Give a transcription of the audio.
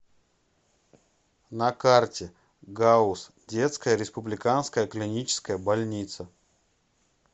на карте гауз детская республиканская клиническая больница